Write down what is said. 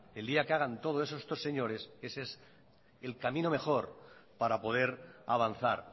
el día que hagan todo eso estos señores ese es el camino mejor para poder avanzar